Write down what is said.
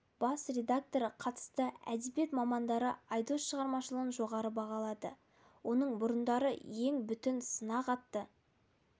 бас редакторы қатысты әдебиет мамандары айдос шығармашылығын жоғары бағалады оның бұрындары ең бүтін сынақ атты